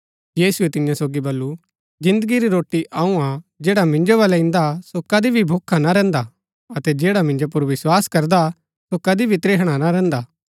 यीशुऐ तियां सोगी बल्लू जिन्दगी री रोटी अऊँ हा जैडा मिन्जो बलै इन्दा सो कदी भी भूखा ना रैहन्दा अतै जैडा मिन्जो पुर विस्वास करदा सो कदी भी त्रिहणा ना रैहन्दा